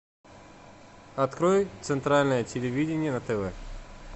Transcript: открой центральное телевидение на тв